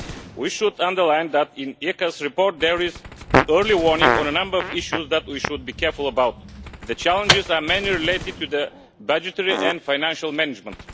We should underline that, in the ECA's report, there is an early warning on a number of issues that we should be careful about. The challenges are mainly related to budgetary and financial management.